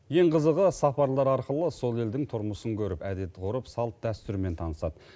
ең қызығы сапарлар арқылы сол елдің тұрмысын көріп әдет ғұрып салт дәстүрімен танысады